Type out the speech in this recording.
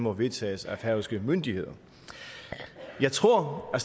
og vedtages af færøske myndigheder jeg tror at